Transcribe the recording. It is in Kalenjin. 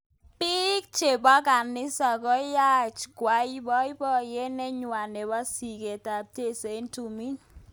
Bik chebo kanisa koyaach kwai boiboyet nenywa nebo siket ab cheiso eng tumin.